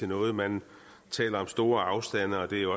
noget man taler om store afstande at det jo